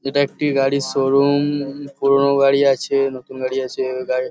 এটা একটি গাড়ির শোরুম -ম-ম। পুরোনো গাড়ি আছে নতুন গাড়ি আছে। গা--